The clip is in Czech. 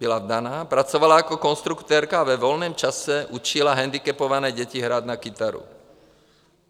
Byla vdaná, pracovala jako konstruktérka a ve volném čase učila hendikepované děti hrát na kytaru.